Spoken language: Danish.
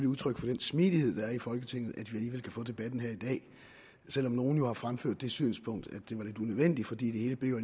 udtryk for den smidighed der er i folketinget at vi alligevel kan få debatten her i dag selv om nogle jo har fremført det synspunkt at det var lidt unødvendigt fordi det hele jo